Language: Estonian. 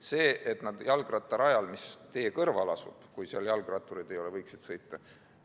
Seda, et nad võiksid sõita jalgrattarajal, mis asub tee kõrval, juhul kui seal jalgrattureid ei ole, ma möönan.